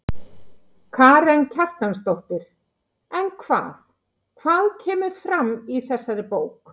Karen Kjartansdóttir: En hvað, hvað kemur fram í þessari bók?